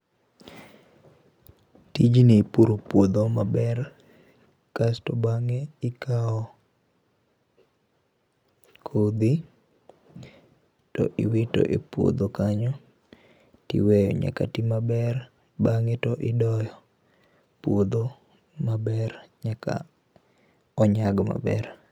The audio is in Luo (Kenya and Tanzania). tijni ipuro puodho maber kasto bang'e ikawo kodhi to iwito e puodho kanyo tiweyo nyaka ti maber bang'e to idoyo puodho maber nyaka onyag maber